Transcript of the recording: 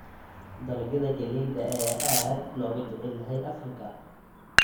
Dalagyada galleyda ayaa aad looga jecel yahay Afrika.